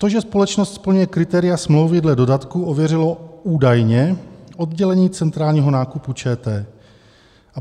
To, že společnost splňuje kritéria smlouvy dle dodatku ověřilo údajně oddělení centrálního nákupu ČT.